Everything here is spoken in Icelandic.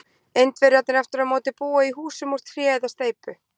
indverjarnir aftur á móti búa í húsum úr tré eða steypu